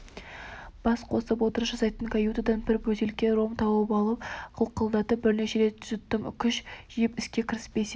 бас қосып отырыс жасайтын каютадан бір бөтелке ром тауып алып қылқылдатып бірнеше рет жұттым күш жиып іске кіріспесем